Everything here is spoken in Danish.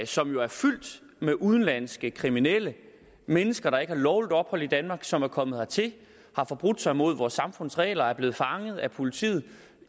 som jo er fyldt med udenlandske kriminelle mennesker der ikke har lovligt ophold i danmark men som er kommet hertil har forbrudt sig imod vores samfunds regler er blevet fanget af politiet